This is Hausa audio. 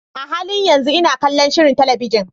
A halin yanzu ina kallon shirin talabijin.